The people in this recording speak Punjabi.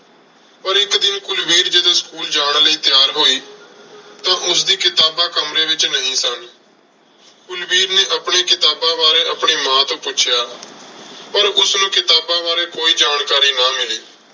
ਪਰ ਇੱਕ ਦਿਨ ਕੁਲਵੀਰ ਜਦੋਂ school ਜਾਣ ਲਈ ਤਿਆਰ ਹੋਈ ਤਾਂ ਉਸਦੀਆਂ ਕਿਤਾਬਾਂ ਕਮਰੇ ਵਿੱਚ ਨਹੀਂ ਸਨ। ਕੁਲਵੀਰ ਨੇ ਆਪਣੀਆਂ ਕਿਤਾਬਾਂ ਬਾਰੇ ਆਪਣੀ ਮਾਂ ਤੋਂ ਪੁੱਛਿਆ ਪਰ ਉਸਨੂੰ ਕਿਤਾਬਾਂ ਬਾਰੇ ਕੋਈ ਜਾਣਕਾਰੀ ਨਾ ਮਿਲੀ।